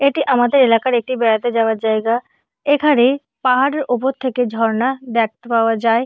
এটি আমাদের এলাকার একটি বেড়াতে যাওয়ার জায়গা । এখানে পাহাড়ের ওপর থেকে ঝরনা দ্যাখতে পাওয়া যায়।